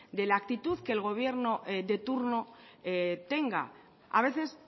de la actitud que el gobierno de turno tenga a veces